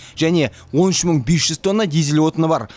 және он үш мың бес жүз тонна дизель отыны бар